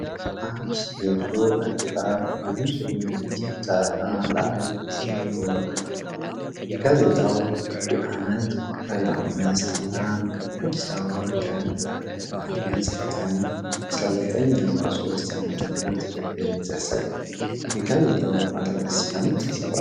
አንድ የድሮ ጋዜጣ በንፁህ ነጭ ዳራ ላይ ተዘርግቶ አለ። ጋዜጣው የዓመት ቁጥር 5 እና የአዲስ አበባ ቀን ጥር 29 ቀን 1943 ዓ.ም. በግልጽ ያሳያል። የጋዜጣው አርዕስት በምን ተጽፏል?